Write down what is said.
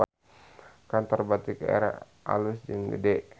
Kantor Batik Air alus jeung gede